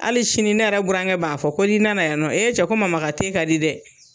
Hali sini ne yɛrɛ burankɛ b'a fɔ , ko ni nana yan nɔ ko ee cɛ ko mama ka ka di dɛ!